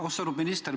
Austatud minister!